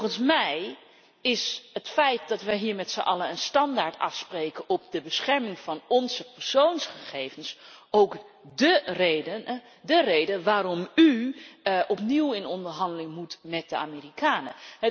Volgens mij is het feit dat we hier met zijn allen een standaard afspreken voor de bescherming van onze persoonsgegevens ook dé reden waarom u opnieuw in onderhandeling moet met de Amerikanen.